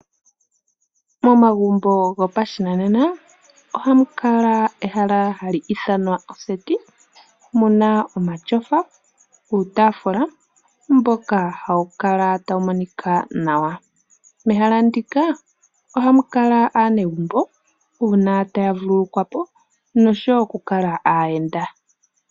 Momagumbo gopashinanena ohamu kala ehala hali ithanwa oseti muna omatyofa nuutaafula mboka hawu kala tawu monika nawa . Mehala ndika ohamu kala aanegumbo uuna taya vululukwapo noshowo oku kala aayenda.